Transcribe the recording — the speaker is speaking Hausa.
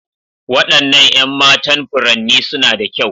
Waɗannan 'yan matan furanni suna da kyau.